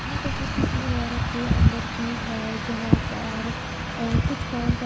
ये तस्वीर किसी इमारत के अंदर की है जहां पर कुछ काम चल--